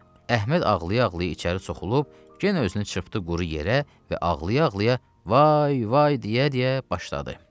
Əhməd ağlaya-ağlaya içəri soxulub, yenə özünü çırpdı quru yerə və ağlaya-ağlaya: “Vay, vay!” deyə-deyə başladı.